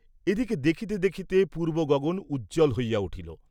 এদিকে দেখিতে দেখিতে পূর্ব্ব গগন উজ্জ্বল হইয়া উঠিল।